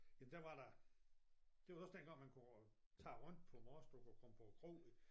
Jamen der var der det var da også dengang man kunne tage rundt på Mors du kunne komme på kroen